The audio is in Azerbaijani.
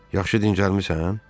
Yaxşı dincəlmisən?"